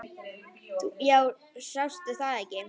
Jú, sástu það ekki.